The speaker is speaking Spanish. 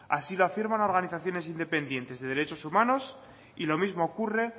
así lo afirman organizaciones independientes de derechos humanos y lo mismo ocurre